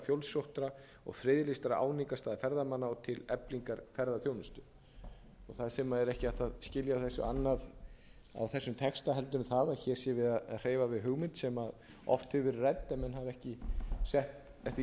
fjölsóttra og friðlýstra áningarstaða ferðamanna og til eflingar ferðaþjónustu þar sem ekki er hægt að skilja annað á þessum texta heldur en það að hér sé verið að hreyfa við hugmynd sem oft hefur verið rædd sem menn hafa ekki sett eftir því sem